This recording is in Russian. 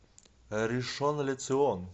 ришон ле цион